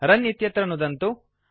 रुन् इत्यत्र नुदन्तु